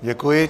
Děkuji.